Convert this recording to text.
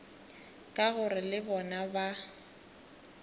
ka gore le bona ba